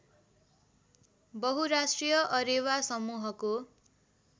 बहुराष्ट्रिय अरेवा समूहको